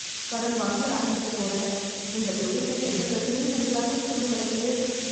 கடன் வாங்கி ஆரம்பிக்க போறேன் இந்த தொழில்ல எந்த பிரச்சனையும் வந்தராம இருக்கனும் கடவுளே